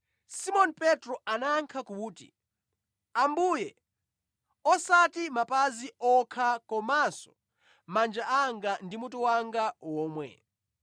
Simoni Petro anayankha kuti, “Ambuye, osati mapazi okha komanso manja anga ndi mutu wanga womwe!”